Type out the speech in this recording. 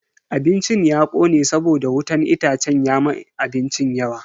Abincin ya kone saboda wutan itacen ya ma abincin yawa.